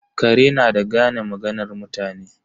Kare na da gane maganar mutane.